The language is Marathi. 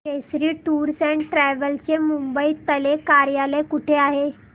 केसरी टूअर्स अँड ट्रॅवल्स चे मुंबई तले कार्यालय कुठे आहे